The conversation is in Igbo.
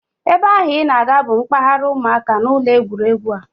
Ebe ahụ I na-aga bụ mpaghara ụmụaka n'ụlọ egwuregwu a